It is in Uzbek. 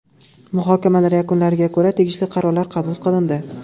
Muhokamalar yakunlariga ko‘ra tegishli qarorlar qabul qilindi.